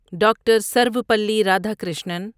doctor Sarvepalli Radhakrishnan